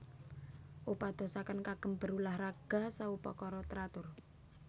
Upadosaken kagem berulah raga saupakara teratur